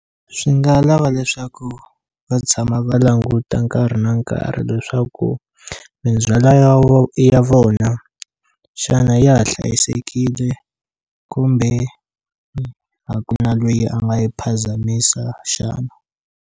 Swi nga lava leswaku va tshama va languta nkarhi na nkarhi leswaku mindzhwala ya ya vona xana ya ha hlayisekile kumbe a ku na lweyi a nga yi phazamisa xana.